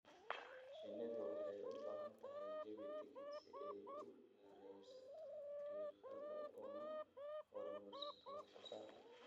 Shinnidu waxay u baahan tahay jawi degan si ay u yarayso diiqada una horumariso wax soo saarka.